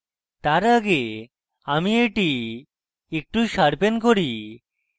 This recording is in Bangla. তার আগে আমি এটি একটু sharpen করি